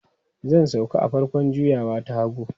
Zan sauka a farkon juyawa ta hagu.